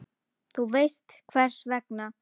Þú veist hvers vegna.